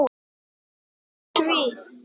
Hvað er svið?